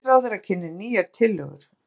Heilbrigðisráðherra kynnir nýjar tillögur